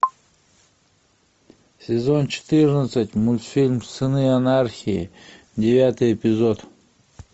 сезон четырнадцать мультфильм сыны анархии девятый эпизод